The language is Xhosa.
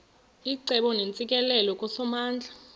icebo neentsikelelo kusomandla